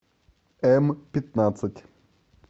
м пятнадцать